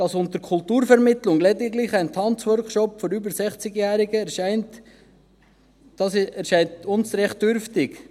Dass unter Kulturvermittlung lediglich ein Tanzworkshop für über 60-Jährige erscheint, scheint uns recht dürftig.